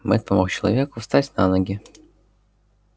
мэтт помог человеку встать на ноги